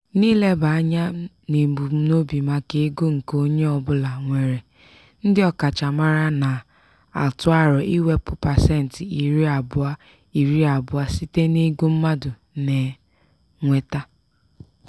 n'ileba anya n'ebumnobi maka ego nke onye ọbụla nwere ndị ọkachamara na-atụ aro iwepụta pasentị iri abụọ iri abụọ site n'ego mmadụ na-enweta.